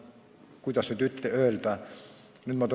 Kuidas nüüd öeldagi?